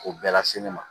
K'o bɛɛ lase ne ma